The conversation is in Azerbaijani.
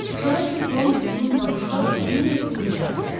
Şara çırpılan uzun qamışlar onun örtüyünü cıra bilərdi.